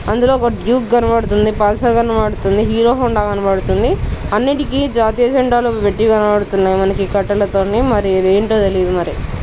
అందులో ఒక డ్యూక్ కనబడుతుంది పల్సర్ కనబడుతుంది హీరో హోండా కనబడుతుంది. అన్నిటికి జాతీయ జెండాలు పెట్టి కనబడుతున్నాయి. మనకు కట్తల తోని మనకు మరి ఏంటో తెలీదు మరి.